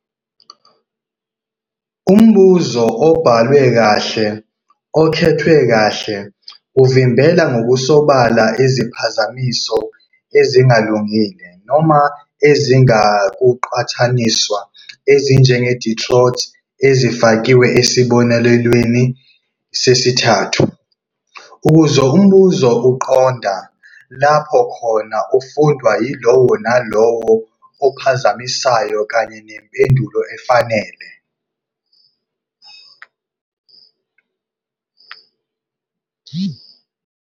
Umbuzo obhalwe kahle okhethwe kahle uvimbela ngokusobala iziphazamiso ezingalungile noma ezingenakuqhathaniswa, ezinjenge-detroit ezifakiwe esibonelweni sesithathu, ukuze umbuzo uqonda lapho ufundwa yilowo nalowo ophazamisayo kanye nempendulo efanele.